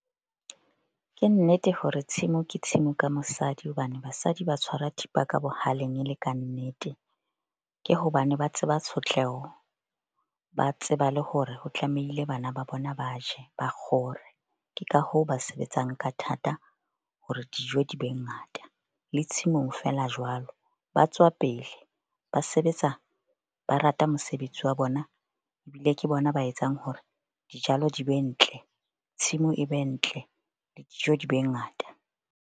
Ke nnete hore tshimo ke tshimo ka mosadi hobane basadi ba tshwara thipa ka bohaleng e le kannete. Ke hobane ba tseba tshotleho. Ba tseba le hore ho tlamehile bana ba bona ba je, ba kgore. Ke ka hoo ba sebetsang ka thata hore dijo di be ngata. Le tshimong feela jwalo, ba tswa pele ba sebetsa, ba rata mosebetsi wa bona ebile ke bona ba etsang hore dijalo di be ntle. Tshimo e be ntle le dijo di be ngata.